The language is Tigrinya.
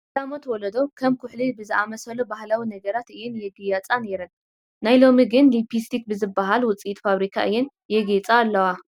ቀዳሞት ወለዶ ከም ኩሕሊ ብዝኣምሰሉ ባህላዊ ነገራት እየን የጋይፃ ነይረን፡፡ ናይ ሎሚ ግን ሊፕስቲክ ብዝበሃል ውፅኢት ፋብሪካ እየን የጋይፃ ዘለዋ፡፡